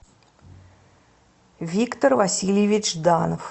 виктор васильевич жданов